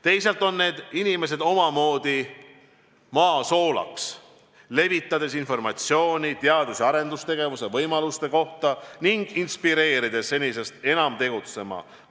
Teisalt on need inimesed omamoodi maa soolaks, levitades informatsiooni teadus- ja arendustegevuse võimaluste kohta ning inspireerides senisest enam tegutsema.